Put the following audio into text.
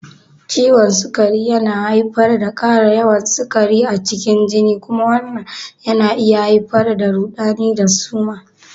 Ciwon sukari yana haifar da ƙara yawan sukari a cikin jini kuma wannan na iya haifar da rudani da suma.